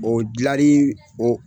O dilari o